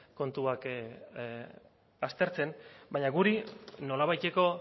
kontuak aztertzen baina guri nolabaiteko